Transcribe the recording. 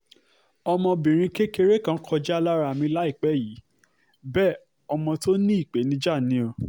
ọmọbìnrin kékeré kan kọjá lára mi láìpẹ́ yìí bẹ́ẹ̀ ọmọ tó ní ìpèníjà ni o